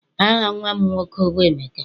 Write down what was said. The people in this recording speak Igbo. Aha nnwa m nwoke bụ Emeka.